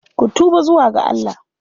Ku tuba zuwa ga Allah!